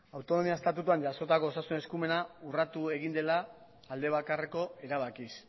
autonomia estatutuan jasotako osasun eskumena urratu egin dela alde bakarreko erabakiz